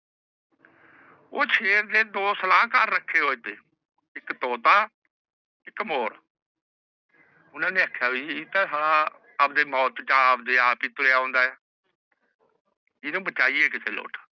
ਊਹ ਸ਼ੇਰ ਦੇ ਦੋ ਸਲਾਹਕਾਰ ਰੱਖੇ ਹੋਏ ਨੇ ਇਕ ਤੋਤਾ ਇਕ ਮੋਰ ਓਹਨਾ ਨੇ ਆਪਣੇ ਮੌਤ ਤੇਹ ਇਹ ਆਪ ਤੁਰੀਆ ਆਉਂਦਾ ਹੈ ਇਹਨੁ ਬਚੀਏ